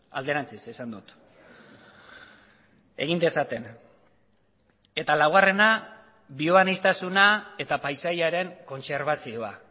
alderantziz esan dut egin dezaten eta laugarrena bioaniztasuna eta paisaiaren kontserbazioa